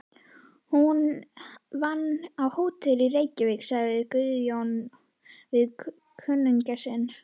Hún vann á Hótel Reykjavík, sagði Guðjón við kunningja sína.